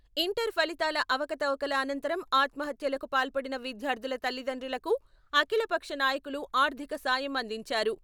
Inter ఫలితాల అవకతవకల అనంతరం ఆత్మహత్యలకు పాల్పడిన విద్యార్థుల తల్లిదండ్రులకు అఖిలపక్ష నాయకులు ఆర్థిక సాయం అందించారు.